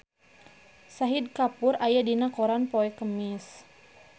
Shahid Kapoor aya dina koran poe Kemis